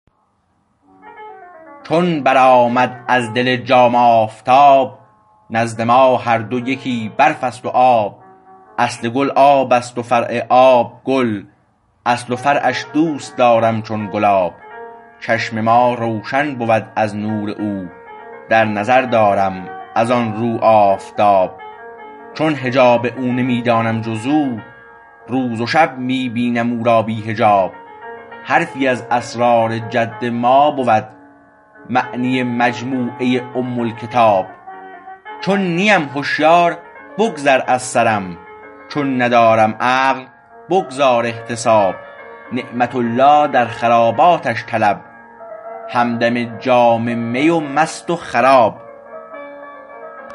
چون برآمد از دل جام آفتاب نزد ما هر دو یکی برف است و آب اصل گل آبست و فرع آب گل اصل و فرعش دوستدارم چون گلاب چشم ما روشن بود از نور او در نظر دارم از آن رو آفتاب چون حجاب او نمی دانم جز او روز و شب می بینم او را بی حجاب حرفی از اسرار جد ما بود معنی مجموعه ام الکتاب چون نیم هشیار بگذر از سرم چون ندارم عقل بگذار احتساب نعمت الله در خراباتش طلب همدم جام می و مست وخراب